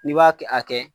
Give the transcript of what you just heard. N'i b'a kɛ a kɛ